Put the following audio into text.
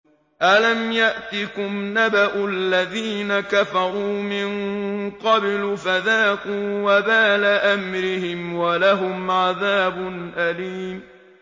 أَلَمْ يَأْتِكُمْ نَبَأُ الَّذِينَ كَفَرُوا مِن قَبْلُ فَذَاقُوا وَبَالَ أَمْرِهِمْ وَلَهُمْ عَذَابٌ أَلِيمٌ